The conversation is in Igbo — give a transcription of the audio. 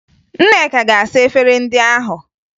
Nneka ga-asa efere ndị ahụ